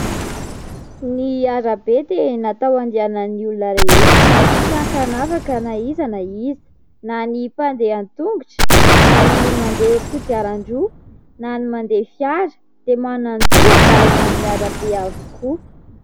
Ny arabe dia natao andehanan'ny olona rehetra tsy an-kanavaka na iza na iza na ny mpandeha tongotra na ny mandeha kodiaran-droa na ny mandeha fiara dia manan-jò handalo eny amin'ny arabe avokoa.